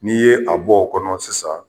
N'i ye a bɔ o kɔnɔ sisan